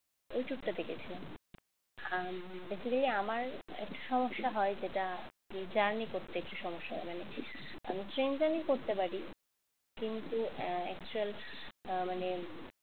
ওই tour টাতে গেছিলাম আহ basically আমার একটা সমস্যা হয় এটাতে আমি journey করতে একটু সমস্যা হয় মানে আমি ট্রেন journey করতে পারি কিন্তু actual আহ মানে